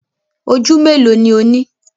Oju melo ni o ni?